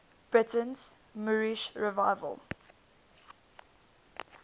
britain's moorish revival